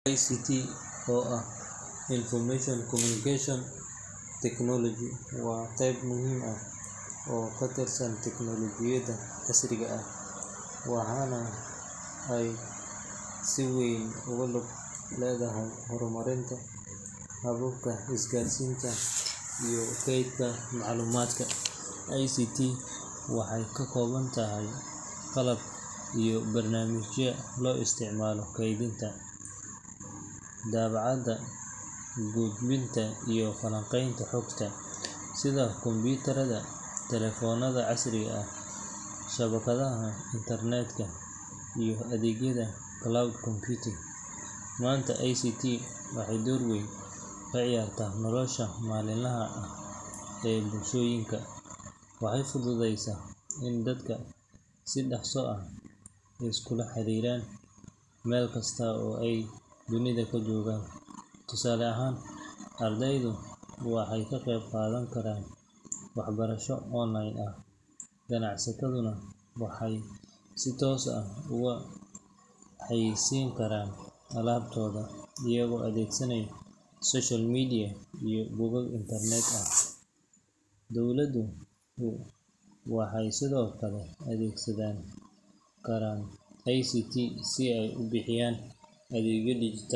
ICT, oo ah Information and Communication Technology, waa qeyb muhiim ah oo ka tirsan tiknolojiyadda casriga ah, waxaana ay si weyn ugu lug leedahay horumarinta hababka isgaarsiinta iyo kaydinta macluumaadka. ICT waxay ka koobantahay qalabka iyo barnaamijyada loo isticmaalo kaydinta, daabacaadda, gudbinta, iyo falanqaynta xogta, sida kombiyuutarada, telefoonada casriga ah, shabakadaha internetka, iyo adeegyada cloud computing. Maanta, ICT waxay door weyn ka ciyaartaa nolosha maalinlaha ah ee bulshooyinka. Waxay fududeysay in dadku si dhaqso ah iskula xiriiraan, meel kasta oo ay dunida ka joogaan. Tusaale ahaan, ardaydu waxay ka qeyb qaadan karaan waxbarasho online ah, ganacsataduna waxay si toos ah ugu xayeysiin karaan alaabtooda iyagoo adeegsanaya social media iyo bogag internet ah. Dowladuhu waxay sidoo kale adeegsan karaan ICT si ay u bixiyaan adeegyo dhijitaal ah.